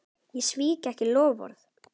Ég svík ekki loforð.